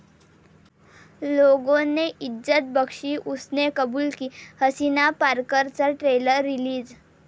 'लोगों ने इज्जत बख्शी, उसने कुबूल की!' 'हसीना पारकर'चा ट्रेलर रिलीज